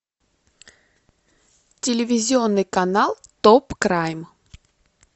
телевизионный канал топ крайм